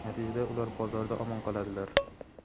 natijada ular bozorda omon qoladilar.